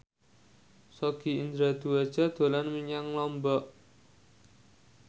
Sogi Indra Duaja dolan menyang Lombok